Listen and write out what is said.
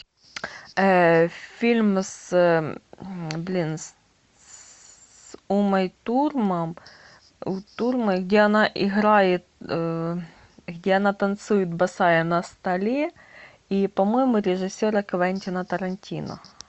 фильм с блин с умой турман где она играет где она танцует босая на столе и по моему режиссера квентина тарантино